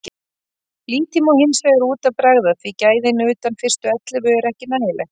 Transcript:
Lítið má hinsvegar út af bregða því gæðin utan fyrstu ellefu eru ekki nægileg.